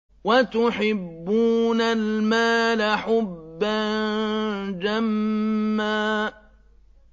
وَتُحِبُّونَ الْمَالَ حُبًّا جَمًّا